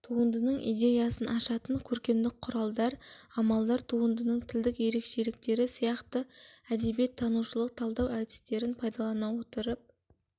туындының идеясын ашатын көркемдік құралдар амалдар туындының тілдік ерекшеліктері сияқты әдебиет танушылық талдау әдістерін пайдалана отырып